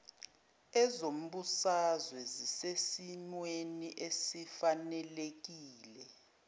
ezombusazwe zisesimweni esifanelekile